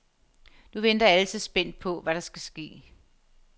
Nu venter alle så spændt på, hvad der skal ske.